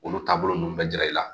Olu taabolo ninnu bɛ jara i la